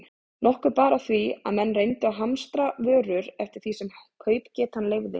Nokkuð bar á því, að menn reyndu að hamstra vörur eftir því sem kaupgetan leyfði.